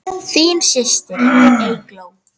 Þín systir, Eygló.